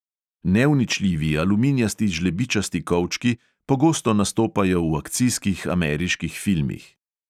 Neuničljivi aluminijasti žlebičasti kovčki pogosto nastopajo v akcijskih ameriških filmih.